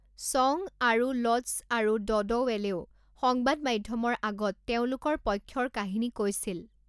চং আৰুলড'ছ আৰু ড'ডৱেলেও সংবাদ মাধ্যমৰ আগত তেওঁলোকৰ পক্ষৰ কাহিনী কৈছিল।